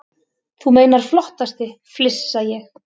Þú meinar flottasti, flissa ég.